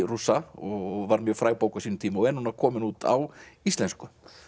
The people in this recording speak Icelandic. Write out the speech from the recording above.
Rússa og var mjög fræg bók á sínum tíma og er núna komin út á íslensku